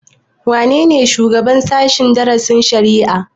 Wane ne shugaban sashen darasin shari'a?